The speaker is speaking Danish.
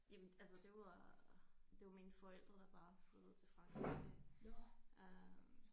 Jamen altså det var det mine forældre der bare flyttede til Frankrig øh